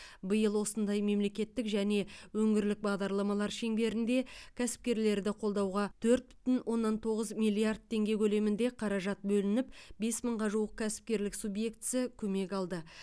биыл осындай мемлекеттік және өңірлік бағдарламалар шеңберінде кәсіпкерлерді қолдауға төрт бүтін оннан тоғыз миллиард теңге көлемінде қаражат бөлініп бес мыңға жуық кәсіпкерлік субьектісі көмек алды